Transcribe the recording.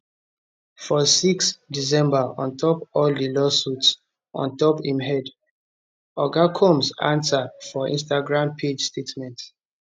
for 6 december on top all di lawsuits on top im head oga combs ansa for instagram page statement